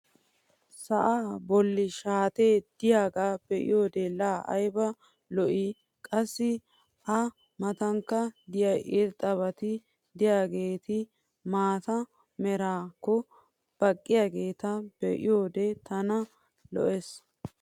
sa'aa boli shaatee de'iyaagaa be'iyoode laa ayba lo'ii? qassi a matankka de'iya irxxabati diyaageeti maata meraakko baqqiyaageeta be'iyoode tana lo'ees.